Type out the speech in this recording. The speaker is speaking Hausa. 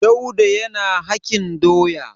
Dauda yana hakin doya.